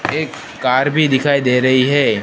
एक कार भी दिखाई दे रही है।